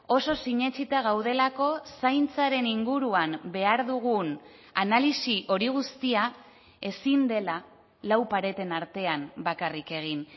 oso sinetsita gaudelako zaintzaren inguruan behar dugun analisi hori guztia ezin dela lau pareten artean bakarrik egin